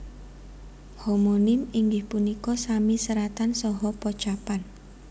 Homonim inggih punika sami seratan saha pocapan